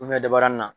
dabarani na